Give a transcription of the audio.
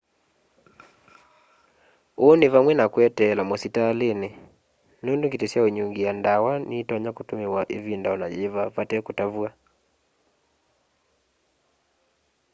uu ni vamwe na kweteela musitalini nundu ngiti syaunyungia ndawa nitonya kutumiwa ivinda ona yiva vate kutavw'a